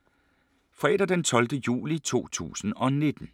Fredag d. 12. juli 2019